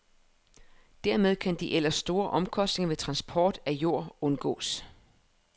Dermed kan de ellers store omkostninger ved transport af jord undgås.